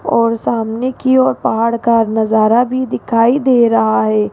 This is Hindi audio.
और सामने की और पहाड़ का नजारा भी दिखाई दे रहा है।